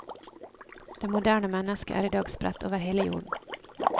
Det moderne menneske er i dag spredt over hele jorden.